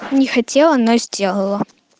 не хотела но сделала